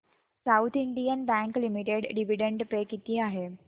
south Indian Bank Limited dividend pay किती आहे